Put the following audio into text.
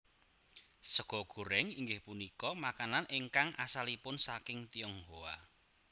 Sega goréng inggih punika makanan ingkang asalipun saking Tionghoa